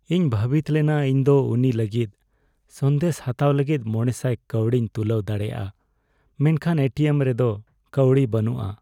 ᱤᱧ ᱵᱷᱟᱹᱵᱤᱛ ᱞᱮᱱᱟ ᱤᱧ ᱫᱚ ᱩᱱᱤ ᱞᱟᱹᱜᱤᱫ ᱥᱟᱸᱫᱮᱥ ᱦᱟᱛᱟᱣ ᱞᱟᱹᱜᱤᱫ ᱕᱐᱐ ᱠᱟᱹᱣᱰᱤᱧ ᱛᱩᱞᱟᱹᱣ ᱫᱟᱲᱮᱭᱟᱜ ᱟ, ᱢᱮᱱᱠᱷᱟᱱ ᱮᱴᱤᱮᱢ ᱨᱮᱫᱚ ᱠᱟᱹᱣᱰᱤ ᱵᱟᱹᱱᱩᱜ ᱟ ᱾